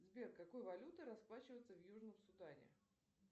сбер какой валютой расплачиваются в южном судане